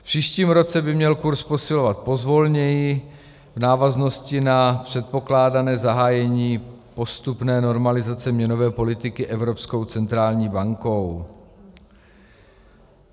V příštím roce by měl kurz posilovat pozvolněji v návaznosti na předpokládané zahájení postupné normalizace měnové politiky Evropskou centrální bankou.